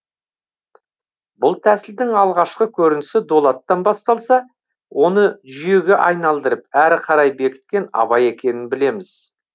бұл тәсілдің алғашқы көрінісі дулаттан басталса оны жүйеге айналдырып әрі қарай бекіткен абай екенін білеміз